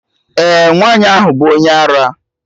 Eh, nwaanyị ahụ bụ onye ara